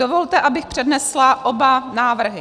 Dovolte, abych přednesla oba návrhy.